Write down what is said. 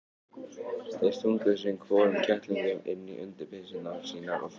Þeir stungu sinn hvorum kettlingnum inn undir peysurnar sínar og fóru.